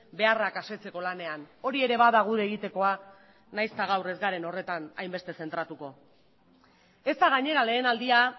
beharrak asetzeko lanean hori ere bada gure egitekoa nahiz eta gaur ez garen horretan hainbeste zentratuko ez da gainera lehen aldia